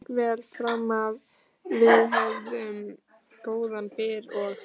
Allt gekk vel framanaf, við höfðum góðan byr og